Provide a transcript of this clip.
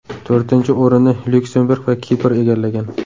To‘rtinchi o‘rinni Lyuksemburg va Kipr egallagan.